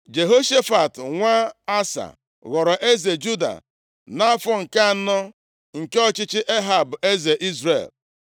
Jehoshafat nwa Asa ghọrọ eze Juda, nʼafọ nke anọ, nke ọchịchị Ehab eze Izrel.